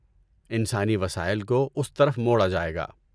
انسانی وسائل کو اس طرف موڑا جائے گا۔